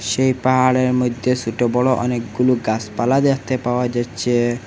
সেই পাহাড়ের মইদ্যে সোটো বড় অনেকগুলু গাসপালা দেখতে পাওয়া যাইচ্চে।